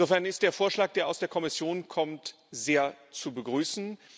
Insofern ist der Vorschlag, der aus der Kommission kommt, sehr zu begrüßen.